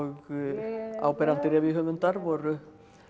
áberandi revíuhöfundar voru